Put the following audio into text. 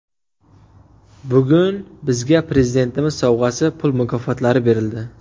Bugun bizga Prezidentimiz sovg‘asi, pul mukofotlari berildi.